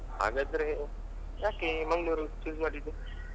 ಹಾಗಾದ್ರೆ ಯಾಕೆ ಮಂಗ್ಳೂರು choose ಮಾಡಿದ್ದು?